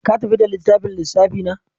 Ka tafi da littafin lissafi na?